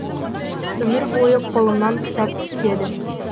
өмір бойы қолымнан кітап түспеді